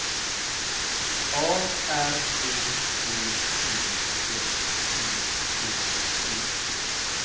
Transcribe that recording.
A R B E T S T I D